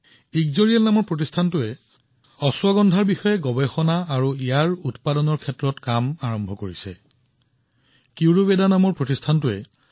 ইক্সোৰিয়েলয়ে কেৱল অশ্বগন্ধাৰ ব্যৱহাৰ সম্পৰ্কে সজাগতা বিয়পাই দিয়াই নহয় লগতে উন্নতমানদণ্ডৰ উৎপাদন প্ৰক্ৰিয়াত বৃহৎ পৰিমাণৰ বিনিয়োগো কৰিছে